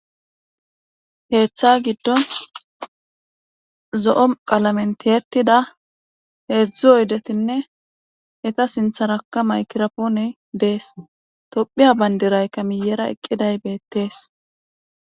Keththa giddon zo7o qalamentiyetida heedzdzu oydetinne eta sintharakka maykirapoone dees tophiya bayndirayka miyera eqqiday beettees